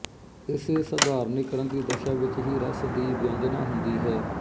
ਇਸੇ ਸਾਧਾਰਣੀਕਰਣ ਦੀ ਦਸ਼ਾ ਵਿਚ ਹੀ ਰਸ ਦੀ ਵਿਅਜੰਨਾ ਹੁੰਦੀ ਹੈ